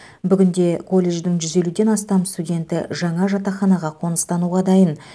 бүгінде колледждің жүз елуден астам студенті жаңа жатақханаға қоныстануға дайын